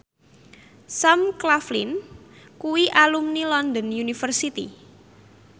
Sam Claflin kuwi alumni London University